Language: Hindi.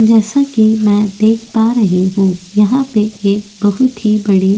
जैसा कि मैं देख पा रही हूं यहां पे एक बहुत ही बड़ी --